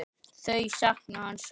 Þau sakna hans sárt.